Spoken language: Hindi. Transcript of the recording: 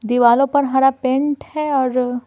दीवालों पर हरा पेंट है और--